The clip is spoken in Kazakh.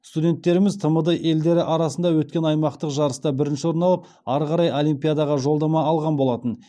студенттеріміз тмд елдері арасында өткен аймақтық жарыста бірінші орын алып ары қарай олимпиадаға жолдама алған болатын